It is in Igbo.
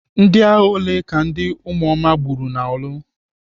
Ndịagha ole ka ndị ụmụoma gbagburu n'orlu?